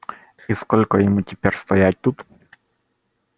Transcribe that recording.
и сколько ему теперь стоять тут